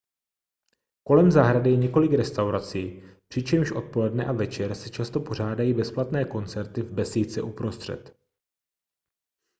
kolem zahrady je několik restaurací přičemž odpoledne a večer se často pořádají bezplatné koncerty v besídce uprostřed